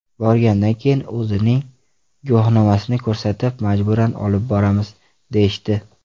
Borgandan keyin o‘zining guvohnomasini ko‘rsatib, majburan olib boramiz, deyishdi.